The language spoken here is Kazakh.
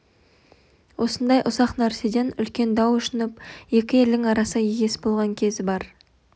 осындай ұсақ нәрседен үлкен дау ұшынып екі елдің арасы егес болған кезі бар